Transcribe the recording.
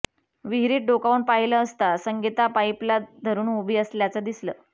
विहिरीत डोकावून पाहिलं असता संगीता पाईपला धरुन उभी असल्याचं दिसलं